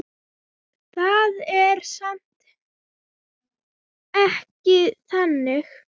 Það er samt ekki þannig.